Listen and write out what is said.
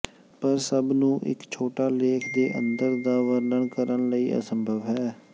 ਪਰ ਸਭ ਨੂੰ ਇੱਕ ਛੋਟਾ ਲੇਖ ਦੇ ਅੰਦਰ ਦਾ ਵਰਣਨ ਕਰਨ ਲਈ ਅਸੰਭਵ ਹੈ